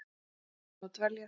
Hér ætlaði hún að dveljast.